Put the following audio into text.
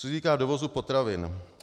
Co se týká dovozu potravin.